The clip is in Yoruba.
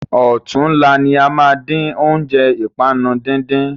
Ọ̀túnla ní a máa dín óúnjẹ ìpanu dídín.